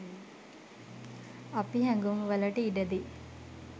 අපි හැඟුම් වලට ඉඩදී